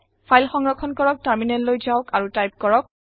file সংৰক্ষণ কৰক টাৰমিনেললৈ যাওক আৰু টাইপ কৰক